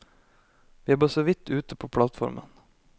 Vi er bare så vidt ute på plattformen.